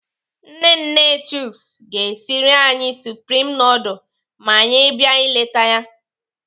Nne nne Chuks ga-esiri anyị supreme nudul ma anyị bịa ileta ya.